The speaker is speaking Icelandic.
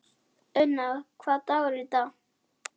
Auðna, hvaða dagur er í dag?